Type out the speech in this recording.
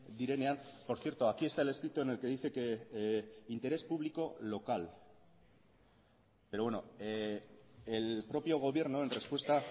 direnean por cierto aquí está el escrito en el que dice que interés público local pero bueno el propio gobierno en respuesta